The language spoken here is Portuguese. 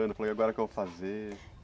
Falei, agora o que que eu vou fazer?